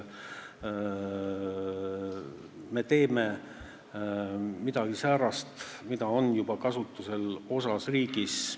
Me teeme midagi säärast, mis on juba riigi teatud osas kasutusel.